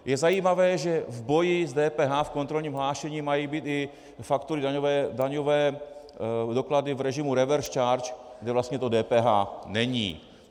Je zajímavé, že v boji s DPH v kontrolním hlášení mají být i faktury, daňové doklady v režimu revers charge, kde vlastně do DPH není.